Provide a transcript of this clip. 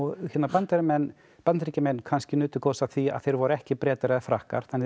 Bandaríkjamenn Bandaríkjamenn kannski nutu góðs af því að þeir voru ekki Bretar eða Frakkar þannig að